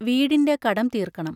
വീടിന്റെ കടം തീർക്കണം.